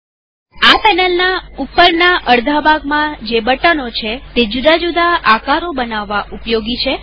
આ પેનલના ઉપરના અડધા ભાગમાં જે બટનો છે તે જુદી જુદી વસ્તુઓ બનાવવા ઉપયોગી છે